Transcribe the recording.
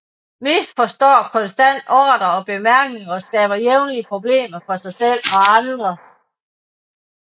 Misforstår konstant ordrer og bemærkninger og skaber jævnligt problemer for sig selv og andre